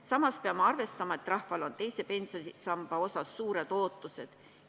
Samas peame arvestama, et rahval on teise pensionisamba osas suured ootused.